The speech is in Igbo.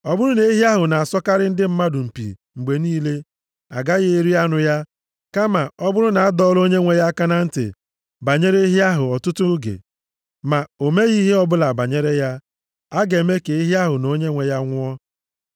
Ọ bụrụ na ehi ahụ na-asọkarị ndị mmadụ mpi mgbe niile, agaghị eri anụ ya. Kama, ọ bụrụ na adọọla onyenwe ya aka na ntị banyere ehi ahụ ọtụtụ oge, ma o meghị ihe ọbụla banyere ya, a ga-eme ka ehi ahụ na onyenwe ya nwụọ.